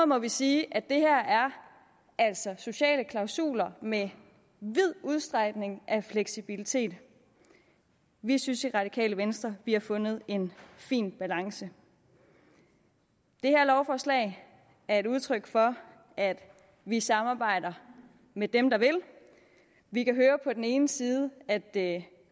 må vi sige at det her altså er sociale klausuler med vid udstrækning af fleksibilitet vi synes i radikale venstre vi har fundet en fin balance det her lovforslag er et udtryk for at vi samarbejder med dem der vil vi kan høre på den ene side at